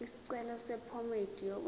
isicelo sephomedi yokwenze